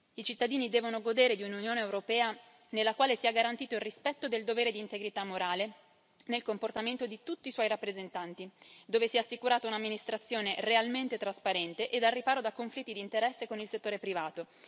I cittadini devono godere di un'Unione europea nella quale sia garantito il rispetto del dovere di integrità morale nel comportamento di tutti i suoi rappresentanti, dove sia assicurata un'amministrazione realmente trasparente e al riparo da conflitti di interesse con il settore privato.